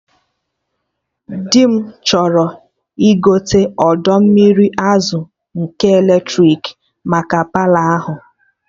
Dị m chọrọ igote odo mmiri azụ nke eletrik maka Palọ ahụ